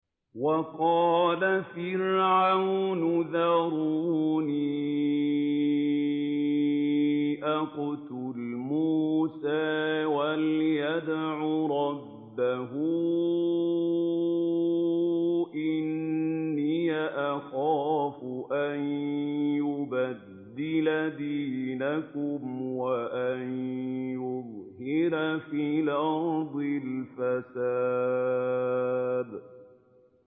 وَقَالَ فِرْعَوْنُ ذَرُونِي أَقْتُلْ مُوسَىٰ وَلْيَدْعُ رَبَّهُ ۖ إِنِّي أَخَافُ أَن يُبَدِّلَ دِينَكُمْ أَوْ أَن يُظْهِرَ فِي الْأَرْضِ الْفَسَادَ